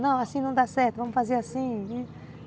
Não, assim não dá certo, vamos fazer assim.